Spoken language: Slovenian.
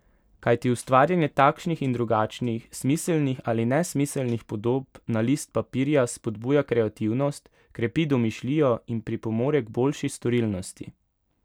Kajti ustvarjanje takšnih in drugačnih, smiselnih ali nesmiselnih podob na list papirja spodbuja kreativnost, krepi domišljijo in pripomore k boljši storilnosti.